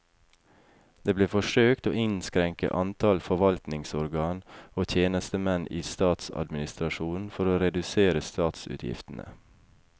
Det ble forsøkt å innskrenke antall forvaltningsorgan og tjenestemenn i statsadministrasjonen for å redusere statsutgiftene.